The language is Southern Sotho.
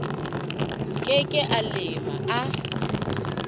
ke ke a lema a